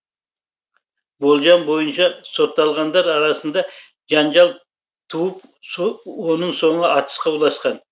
болжам бойынша сотталғандар арасында жанжал туып оның соңы атысқа ұласқан